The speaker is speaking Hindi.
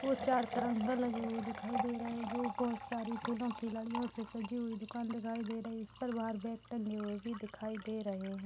ओर चार तिरंगा लगे हुए दिखाई दे रहे हैं जो बहुत सारे फूलों की लड़ियों से सजे हुए दुकान दिखाई दे रही है| इस पर बाहर बेग टंगे हुए भी दिखाई दे रहे हैं।